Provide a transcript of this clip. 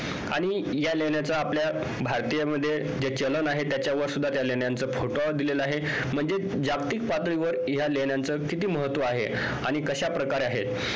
आणि ह्या लेण्यांचा आपल्या भारतीय मध्ये जे चलन आहे त्याच्यावर सुद्धा त्या लेण्यांचा photo दिलेला आहे म्हणजे जागतिक पातळीवर ह्या लेण्यांचा किती महत्व आहे आणि कशाप्रकारे आहे